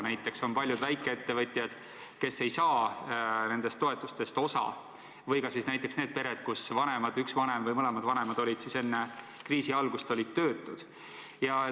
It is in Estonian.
Näiteks paljud väikeettevõtjad ei saa nendest toetustest osa või siis need pered, kus üks vanem või mõlemad vanemad olid juba enne kriisi algust töötud.